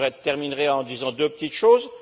Je terminerai en disant deux petites choses.